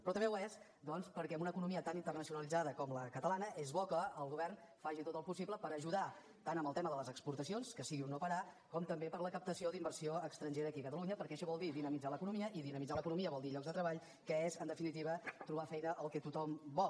però també ho és doncs perquè amb una economia tan internacionalitzada com la catalana és bo que el govern faci tot el possible per ajudar tant en el tema de les exportacions que sigui un no parar com també per a la captació d’inversió estrangera aquí a catalunya perquè això vol dir dinamitzar l’economia i dinamitzar l’economia vol dir llocs de treball que és en definitiva trobar feina el que tothom vol